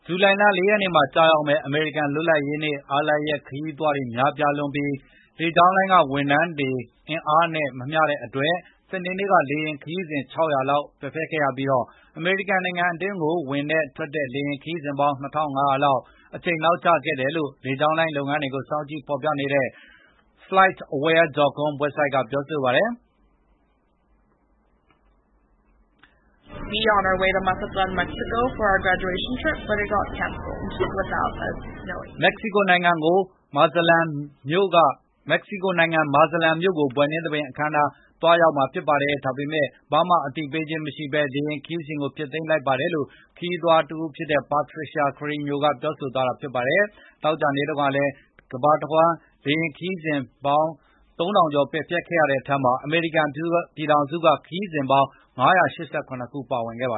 ဇူလိုင်လ ၄ ရက်နေ့မှာကျရောက်မယ့် အမေရိကန်လွတ်လပ်ရေးနေ့ အားလပ်ရက်ခရီး သွား တွေများပြားလွန်းပြီး၊ လေကြောင်းလိုင်းတွေက ဝန်ထမ်းအင်အားနဲ့ မမျှတဲ့အတွက် စနေနေ့ကလေယဉ်ခရီးစဉ်၆၀၀ လောက်ပယ်ဖျက်ခဲ့ရပြီး၊ အမေရိကန် နိုင်ငံအတွင်းကိုဝင်တဲ့၊ ထွက်တဲ့လေယာဉ်ခရီးစဉ်ပေါင်း ၂၅၀၀ လောက် အချိန်နောက်ကျခဲ့တယ်လို့ လေကြောင်းလိုင်း လုပ်ငန်းတွေကို စောင့်ကြည့်ဖော်ပြနေတဲ့ flightaware.com ဝဘ်ဆိုဒ်က ပြောပါတယ်။ " မက္ကဆီကိုနိုင်ငံ Mazatlan မြို့ကို ဘွဲ့နှင်းသဘင်အခမ်းအနားအတွက်သွားမှာပါ၊ ဒါပေမယ့် ဘာမှအသိပေးခြင်းမရှိဘဲလေယဉ်ခရီးစဉ်ကိုပါဖျက်လိုက်ပါတယ်" လို့ ခရီးသွားတဦးဖြစ်တဲ့ Patricia Carreno ကပြောဆိုသွားတာပါ။ သောကြာနေ့တုန်းကလည်း တမ္ဘာလုံးလေယဉ်ခရီးစဉ် ပယ်ဖျက်ခဲ့မှုပေါင်း ၃ ထောင်ကျော်ရှိခဲ့တဲ့အထဲက အမေရိကန်ပြည်ထောင်စုမှာ ခရီးစဉ်ပေါင်း ၅၈၇ ခုပယ် ဖျက်ခဲ့ပါ